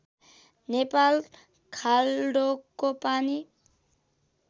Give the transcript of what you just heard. नेपाल खाल्डोको पानी